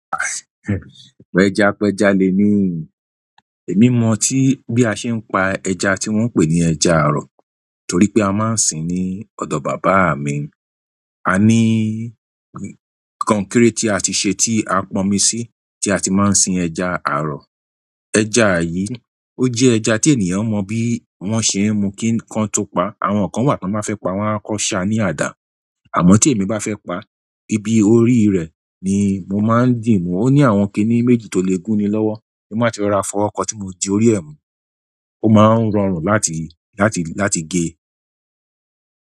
Pẹjapẹja lemí, èmi mọ tí bí a ṣe ń pa ẹja tí wọ́n ń pè ní ẹja àrọ̀ torí pé a máa ń sìn ní ọ̀dọ̀ bàbá mi. A ni konkere ti a ti se ti a ponmi si, ti a ti maa n sin ẹja aro ẹja yìí, ó jẹ́ ẹja tenìyàn mọ bí wọ́n ṣe ń mu kí kan tó pa a. Àwọn kan wà tọ́n ba fẹ́ pa a wan a ọko ṣá ní àdá. Àmọ́ tí èmi bá fẹ́ pa a, ibi orí rẹ̀ ni mo máa ń dìímù. O ni àwọn kini méjì to le gun ni lowo tí n bá ti rora fọwo kọ tí mo di orí ẹ̀ mú, ó máa ń rọrùn láti, láti, láti gé e.